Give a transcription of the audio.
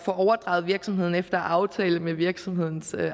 overdraget virksomheden efter aftale med virksomhedens